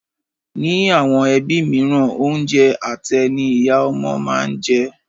Ní àwọn ẹbí mìíràn, oúnjẹ àtẹ́ ní ìyá ọmọ máa ń jẹ.